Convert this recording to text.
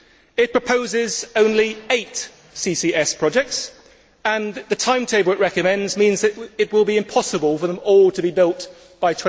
It proposes only eight CCS projects, and the timetable it recommends means that it will be impossible for them all to be built by